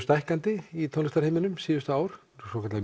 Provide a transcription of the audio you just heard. stækkandi í tónlistarheiminum síðustu ár svokallaðir